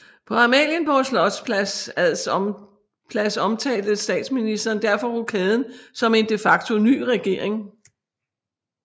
På Amalienborg Slotspl ads omtalte Statsministeren derfor rokaden som en de facto ny regering